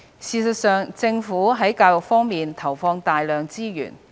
事實上，政府在教育方面投放大量資源。